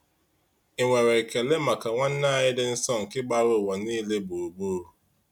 Ị na-enwe ekele maka nwanne anyị dị nsọ nke gbara ụwa niile gburugburu?